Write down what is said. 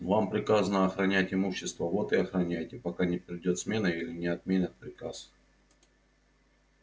вам приказано охранять имущество вот и охраняйте пока не придёт смена или не отменят приказ